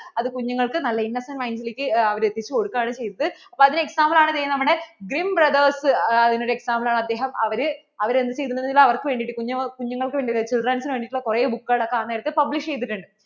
അതു കുഞ്ഞുകൾക്കു നല്ല innocent mind ലേക്ക് അവർ എത്തിച്ചു കൊടുക്കാണ് ചെയ്തത് അപ്പോൾ അതിനു example ആണ് ദേ നമ്മടെ Grim brothers അതിനു ഒരു example അവര് അദ്ദേഹം അവര്‍ക്ക് വേണ്ടിട്ട്, കുഞ്ഞുങ്ങള്‍ക്ക് വേണ്ടിട്ട് അവർ children's വേണ്ടിട്ടുള്ള കുറേ book കൾ ആ നേരത്തു publish ചെയ്തിട്ടുണ്ട്